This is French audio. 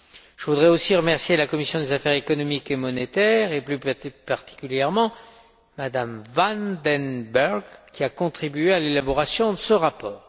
Je voudrais aussi remercier la commission des affaires économiques et monétaires, et plus particulièrement M van den Burg, qui a contribué à l'élaboration de ce rapport.